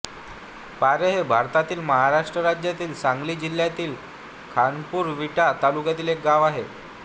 पारे हे भारतातील महाराष्ट्र राज्यातील सांगली जिल्ह्यातील खानापूर विटा तालुक्यातील एक गाव आहे